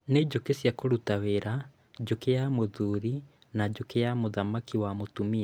Nĩ njũkĩ cia kũruta wĩra, njũkĩ ya mũthuri na njũki ya mũthamaki wa mũtumia